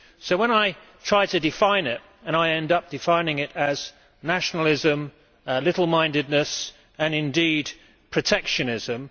When I try to define Euroscepticism, I end up defining it as nationalism, little mindedness and, indeed, protectionism.